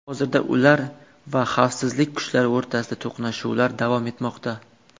Hozirda ular va xavfsizlik kuchlari o‘rtasida to‘qnashuvlar davom etmoqda.